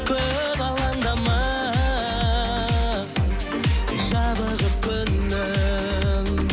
көп алаңдама жабығып күнім